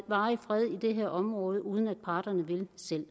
varig fred i det her område uden at parterne vil det selv